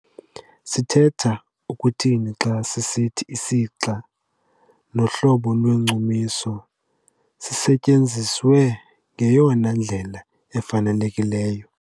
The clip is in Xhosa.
Sithetha ukuthini xa sisithi isixa nohlobo lwesichumiso sisetyenziswe ngeyona ndlela ifanelekileyo?